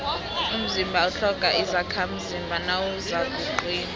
umzimba utlhoga izakhamzimba nawuzakuqina